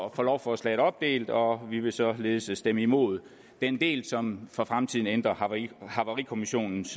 at få lovforslaget opdelt og vi vil således stemme imod den del som for fremtiden ændrer havarikommissionens